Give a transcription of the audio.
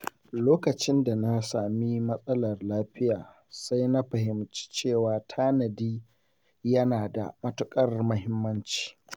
Lokacin da na sami matsalar lafiya, sai na fahimci cewa tanadi yana da matuƙar muhimmanci.